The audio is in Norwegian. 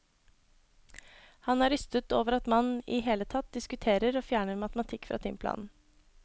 Han er rystet over at man i hele tatt diskuterer å fjerne matematikk fra timeplanen.